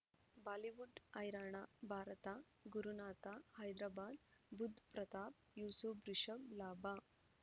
Bollywood ಹೈರಾಣ ಭಾರತ ಗುರುನಾಥ ಹೈದರಾಬಾದ್ ಬುಧ್ ಪ್ರತಾಪ್ ಯೂಸುಫ್ ರಿಷಬ್ ಲಾಭ